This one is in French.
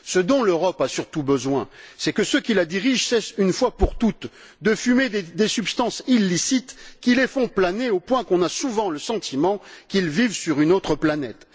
Ce dont l'Europe a surtout besoin, c'est que ceux qui la dirigent cessent, une fois pour toutes, de fumer des substances illicites qui les font planer au point qu'on a souvent le sentiment qu'ils vivent sur une autre planète.